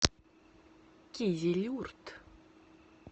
кизилюрт